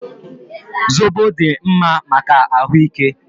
Zobo dị mma maka ahụ ike